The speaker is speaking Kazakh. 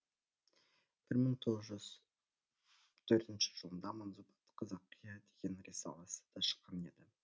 бір мың тоғыз төртінші жылында манзумат қазақия деген рисаласы да шыққан еді